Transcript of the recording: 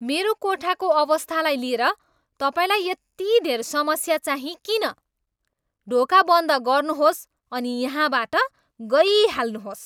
मेरो कोठाको अवस्थालाई लिएर तपाईँलाई यति धेर समस्या चाहिँ किन? ढोका बन्द गर्नुहोस् अनि यहाँबाट गइहाल्नुहोस्।